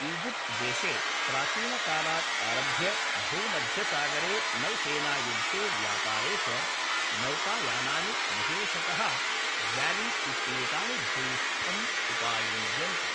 Egypt देशे प्राचीनकालात् आरभ्य भूमध्यसागरे नौसेनायुद्धे व्यापारे च नौकायानानि विशेषतः ग्याली इत्येतानि भूयिष्ठं उपायुज्यन्त।